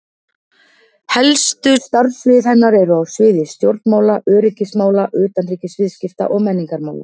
Helstu starfssvið hennar eru á sviði stjórnmála, öryggismála, utanríkisviðskipta og menningarmála.